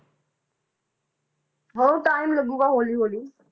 ਹਾਂ time ਲੱਗੇਗਾ ਹੌਲੀ ਹੌਲੀ